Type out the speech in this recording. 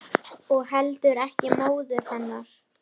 Og heldur ekki móður hennar.